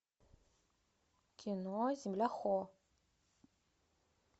кино земля хо